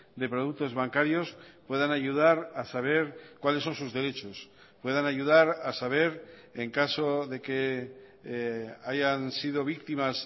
de productos bancarios puedan ayudar a saber cuáles son sus derechos puedan ayudara a saber en caso de que hayan sido víctimas